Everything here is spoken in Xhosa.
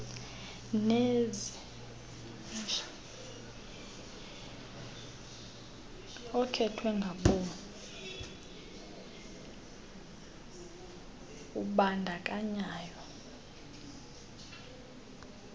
okhethwe ngabom kubandakanyo